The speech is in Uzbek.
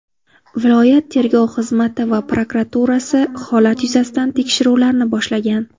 Viloyat tergov xizmati va prokuraturasi holat yuzasida tekshiruvlarni boshlagan.